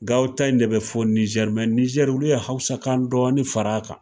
Ga aw ta in de be fɔ Nizɛri Nizeri olu ye hawusa kan dɔɔni fara a kan.